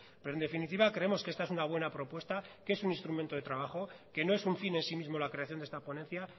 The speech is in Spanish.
pero en definitiva creemos que esta es una buena propuesta que es un instrumento de trabajo que no es un fin en sí mismo la creación de esta ponencia